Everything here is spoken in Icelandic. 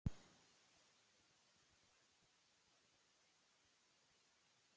Rýna þarf í það hvað erlendir gestir meina með orðinu náttúra.